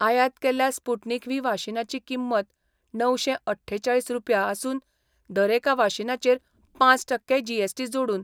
आयात केल्ल्या Sputnik V वाशिनाची किंमत णवशे अठ्ठेचाळीस रुपया आसून दरेका वाशिनाचेर पांच टक्के जीएसटी जोडून